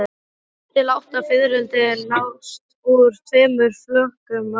Sex til átta fiðrildi nást úr tveimur flökum af fiski.